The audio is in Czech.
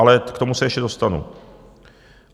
Ale k tomu se ještě dostanu.